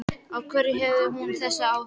Af hverju hefur hún þessi áhrif?